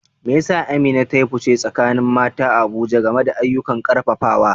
Me yasa Amina ta yi fice a tsakanin mata a Abuja game da ayyukan karfafawa?